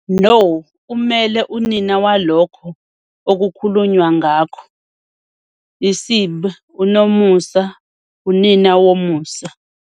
No, kumele unina walokho okukhulunywa ngakho, Isib. unomusa unina womusa.